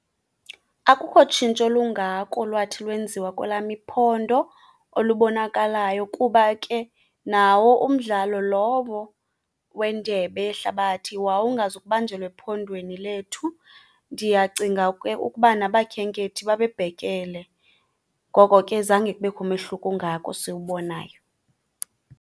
Akukho tshintsho lungako lwathi lwenziwa kwelam iphondo olubonakalayo, kuba ke nawo umdlalo lowo weNdebe yeHlabathi wawungazukubanjelwa ephondweni lethu. Ndiyacinga ke ukuba nabakhenkethi babebhekele, ngoko ke zange kubekho umehluko ungako siwubonayo.